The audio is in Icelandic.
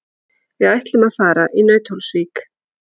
Við ætlum að fara í Nauthólsvík.